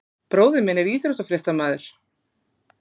Bróðir minn er íþróttafréttamaður.